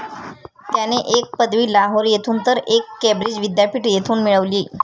त्याने एक पदवी लाहोर येथून तर एक केंब्रिज विद्यापीठ, येथून मिळवली.